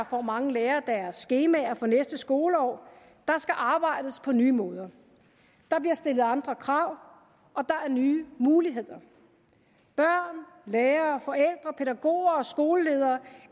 får mange lærere deres skemaer for næste skoleår der skal arbejdes på nye måder der bliver stillet andre krav og der er nye muligheder børn lærere forældre pædagoger og skoleledere